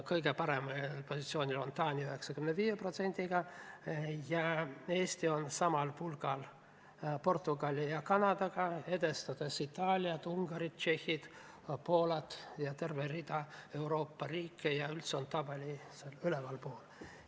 Kõige paremal positsioonil on Taani 95%-ga, Eesti on aga samal pulgal Portugali ja Kanadaga, edestades Itaaliat, Ungarit, Tšehhit, Poolat ja tervet hulka Euroopa riike ja on üldse tabeli ülemises otsas.